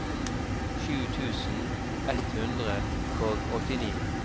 sju tusen ett hundre og åttini